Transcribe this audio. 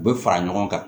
U bɛ fara ɲɔgɔn kan